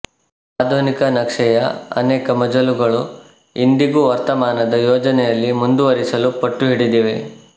ಆಧುನಿಕ ನಕ್ಷೆಯ ಅನೇಕ ಮಜಲುಗಳು ಇಂದಿಗೂ ವರ್ತಮಾನದ ಯೋಜನೆಯಲ್ಲಿ ಮುಂದುವರಿಸಲು ಪಟ್ಟು ಹಿಡಿದಿವೆ